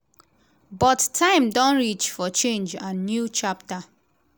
but time don reach for change and new chapter.